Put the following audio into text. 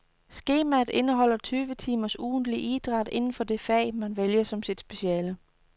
Skemaet indeholder tyve timers ugentlig idræt inden for det fag, man vælger som sit speciale.